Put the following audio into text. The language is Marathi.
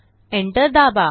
enter दाबा